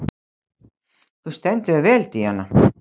Þú stendur þig vel, Díana!